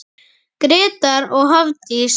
Grétar og Hafdís.